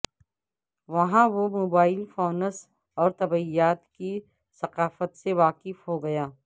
وہاں وہ mobile phones اور طبیعیات کی ثقافت سے واقف ہو گیا